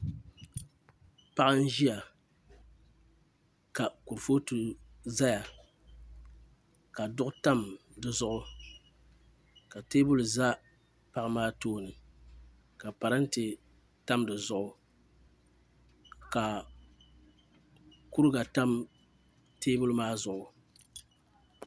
Paɣa n ʒiya ka kurifooti ʒɛya ka duɣu tam dizuɣu ka teebuli ʒɛ paɣa maa tooni ka parantɛ tam di zuɣu ka kuriga tam teebuli maa zuɣu